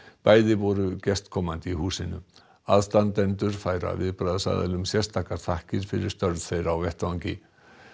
bæði voru gestkomandi í húsinu aðstandendur færa viðbragðsaðilum sérstakar þakkir fyrir störf þeirra á vettvangi